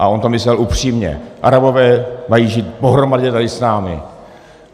A on to myslel upřímně, Arabové mají žít pohromadě tady s námi.